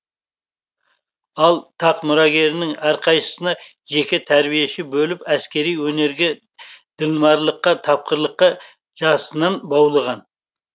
ал тақ мұрагерінің әрқайсысына жеке тәрбиеші бөліп әскери өнерге ділмарлыққа тапқырлыққа жасынан баулыған